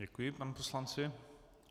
Děkuji panu poslanci.